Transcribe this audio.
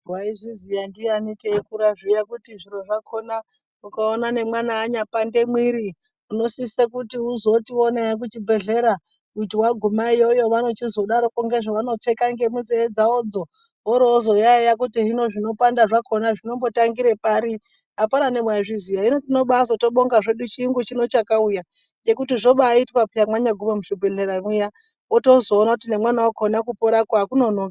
Waizviziya ndiyani teikura zviya kuti zviro zvakona ukaona nemwana anya pande mwiri unosise kuti uzotiwo naye kuchibhedhlera kuti waguma iyoyo vanochizodaroko ngezvavanopfeka ngemunzeve dzavo dzo vorozo yaeya kuti hino zvinopanda zvakona zvinombo tangire pari. Apana newaizviziya hino tinobazotobonga zvedu chiyungu chino chakauya ngekuti zvobaitwa peya mwanyaguma muzvibhedhlera mwiya wotozoona kuti nemwana wakona kupora ko akunonoki.